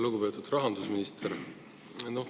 Lugupeetud rahandusminister!